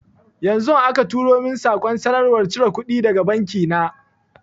Yanzu aka turo min saƙon sanarwar cire kuɗi daga banki na